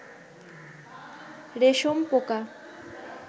রেশম পোকা